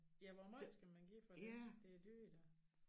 Ja hvor meget skal man give for det det dyrt da